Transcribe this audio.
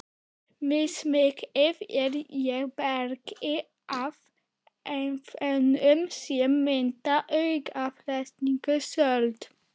Mismikið er í bergi af efnum sem mynda auðleyst sölt.